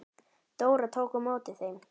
Dóra tók á móti þeim.